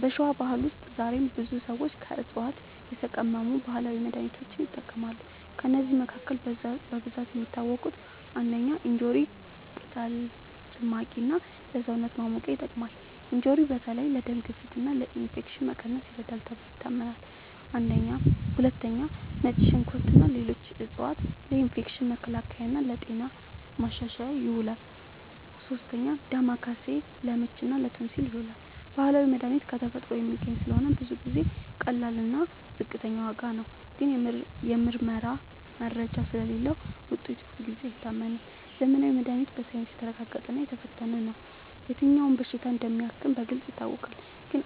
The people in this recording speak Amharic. በሸዋ ባህል ውስጥ ዛሬም ብዙ ሰዎች ከዕፅዋት የተቀመሙ ባህላዊ መድሃኒቶችን ይጠቀማሉ። ከእነዚህ መካከል በብዛት የሚታወቁት፦ ፩. እንጆሪ ቅጠል ጭማቂ እና ለሰውነት ማሞቂያ ይጠቅማል። እንጆሪ በተለይ ለደም ግፊት እና ለኢንፌክሽን መቀነስ ይረዳል ተብሎ ይታመናል። ፪. ነጭ ሽንኩርት እና ሌሎች ዕፅዋት ለኢንፌክሽን መከላከል እና ለጤና ማሻሻል ይውላሉ። ፫. ዳማከሴ ለምች እና ለቶንሲል ይዉላል። ባህላዊ መድሃኒት ከተፈጥሮ የሚገኝ ስለሆነ ብዙ ጊዜ ቀላል እና ዝቅተኛ ዋጋ ነው። ግን የምርመራ መረጃ ስለሌለዉ ውጤቱ ሁልጊዜ አይታመንም። ዘመናዊ መድሃኒት በሳይንስ የተመረጠ እና የተፈተነ ነው። የትኛው በሽታ እንደሚያክም በግልጽ ይታወቃል። ግን